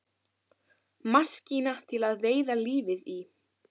Maskína til að veiða lífið í.